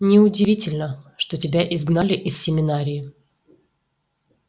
неудивительно что тебя изгнали из семинарии